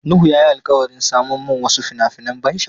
Nuhu ya yi alkawarin saman mun wasu fina-finan ban sha'awa.